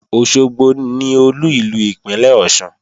Òṣogbo ni Olú ìlú ìpínlè Ọ̀ṣun